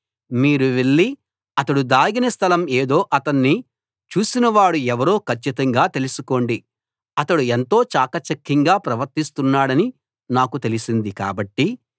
మీరు వెళ్ళి అతడు దాగిన స్థలం ఏదో అతణ్ణి చూసినవాడు ఎవరో కచ్చితంగా తెలుసుకోండి అతడు ఎంతో చాకచక్యంగా ప్రవర్తిస్తున్నాడని నాకు తెలిసింది కాబట్టి